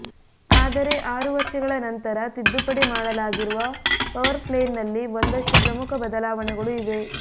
ಆದರೆ ಆರು ವರ್ಷಗಳ ನಂತರ ತಿದ್ದುಪಡಿ ಮಾಡಲಾಗಿರುವ ಪವರ್ ಪ್ಲೇನಲ್ಲಿ ಒಂದಷ್ಟು ಪ್ರಮುಖ ಬದಲಾವಣೆಗಳು ಇವೆ